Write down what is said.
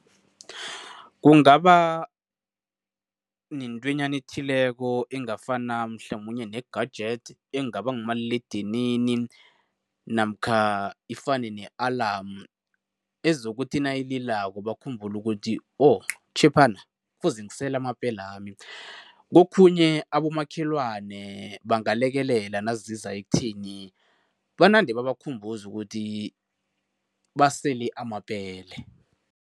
Kungaba nentwenyana ethileko engafana mhlamunye ne-gadget engaba ngumaliledinini namkha ifane ne-alarm ezokuthi nayililako bakhumbule ukuthi butjhephana kufuze ngisele amapelami. Kokhunye abomakhelwane bangalekelela naziza ekutheni banande babakhumbuza ukuthi basele amapele.